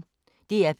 DR P1